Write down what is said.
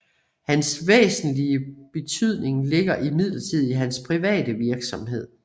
Hans væsentlige betydning ligger imidlertid i hans private virksomhed